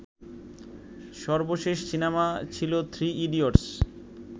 সর্বশেষ সিনেমা ছিলো Three idiots